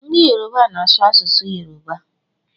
Ndị Yoruba na-asụ asụsụ Yoruba